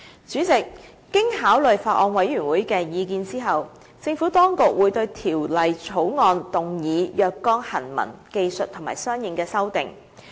主席，經考慮法案委員會的意見後，政府當局會對《條例草案》動議若干行文、技術和相應的修訂。